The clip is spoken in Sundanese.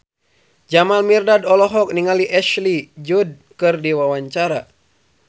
Jamal Mirdad olohok ningali Ashley Judd keur diwawancara